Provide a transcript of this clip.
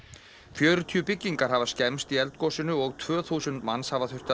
fjörutíu byggingar hafa skemmst í eldgosinu og tvö þúsund manns hafa þurft að